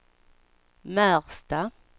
Märsta